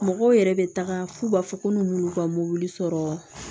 Mɔgɔw yɛrɛ bɛ taga f'u b'a fɔ ko n'olu ka mobili sɔrɔ